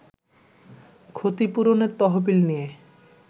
ক্ষতিপূরণের তহবিল নিয়ে